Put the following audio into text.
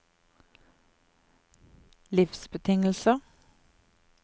livsbetingelser